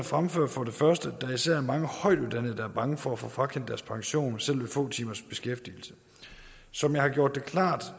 fremfører for det første at der især er mange højtuddannede der er bange for at få frakendt deres pension selv ved få timers beskæftigelse som jeg har gjort det klart